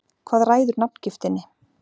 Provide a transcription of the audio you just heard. Hvað ræður nafngiftinni?